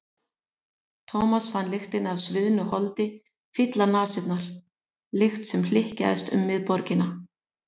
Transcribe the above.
Thomas fann lyktina af sviðnu holdi fylla nasirnar, lykt sem hlykkjaðist um miðborgina.